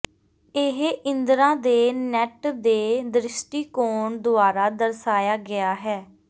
ਇਹ ਇੰਦਰਾ ਦੇ ਨੈੱਟ ਦੇ ਦ੍ਰਿਸ਼ਟੀਕੋਣ ਦੁਆਰਾ ਦਰਸਾਇਆ ਗਿਆ ਹੈ